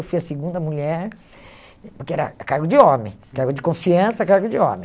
Eu fui a segunda mulher, porque era cargo de homem, cargo de confiança, cargo de homem.